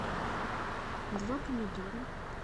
два помидора